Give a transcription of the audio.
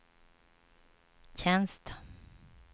tjänst